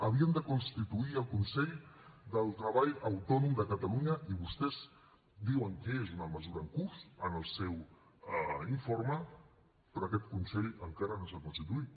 havien de constituir el consell del treball autònom de catalunya i vostès diuen que és una mesura en curs en el seu informe però aquest consell encara no s’ha constituït